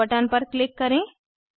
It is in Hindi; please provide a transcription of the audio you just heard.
सेव बटन पर क्लिक करें